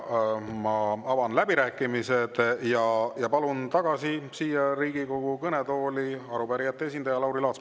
Avan läbirääkimised ja palun tagasi siia Riigikogu kõnetooli arupärijate esindaja Lauri Laatsi.